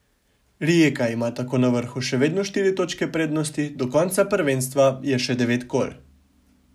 Rijeka ima tako na vrhu še vedno štiri točke prednosti, do konca prvenstva je še devet kol.